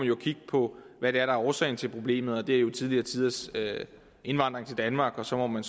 jo kigges på hvad der er årsagen til problemet det er jo tidligere tiders indvandring til danmark og så må man